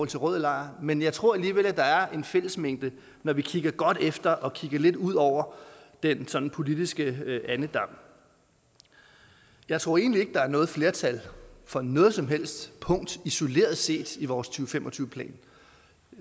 til rød lejr men jeg tror alligevel der er en fællesmængde når vi kigger godt efter og kigger lidt ud over den sådan politiske andedam jeg tror egentlig ikke der er noget flertal for noget som helst punkt isoleret set i vores to fem og tyve plan